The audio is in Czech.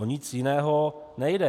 O nic jiného nejde.